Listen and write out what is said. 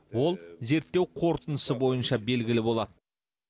ол зерттеу қорытындысы бойынша белгілі болады